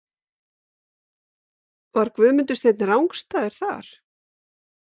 Var Guðmundur Steinn rangstæður þar?